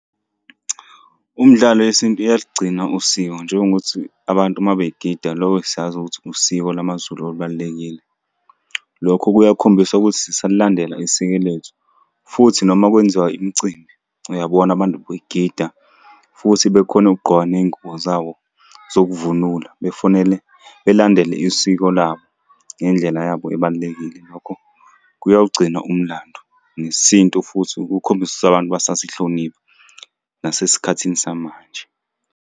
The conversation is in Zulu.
Umdlalo yesintu iyaligcina usiko njengokuthi abantu uma begida lokho siyazi ukuthi usiko lamazulu olubalulekile. Lokho kuyakhombisa ukuthi sisalilandela isiko lethu, futhi noma kwenziwa imicimbi, uyabona abantu begida, futhi bekhona ukugqoka ney'ngubo zabo zokuvunula, befonele belandele isiko labo ngendlela yabo ebalulekile. Lokho kuyawugcina umlando nesintu, futhi kukhombisa abantu basasihlonipha nasesikhathini samanje.